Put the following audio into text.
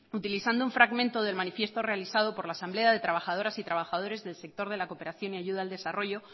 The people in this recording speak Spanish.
utilizando un fragmento del manifiesto realizado por la asamblea de trabajadoras y trabajadores del sector de la cooperación y de ayuda al desarrollo